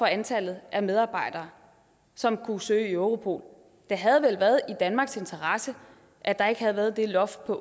antallet af medarbejdere som kunne søge i europol det havde vel været i danmarks interesse at der ikke havde været det loft på